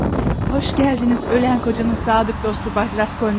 Xoş gəldiniz ölən ərimin sadiq dostu Bay Raskolnikov.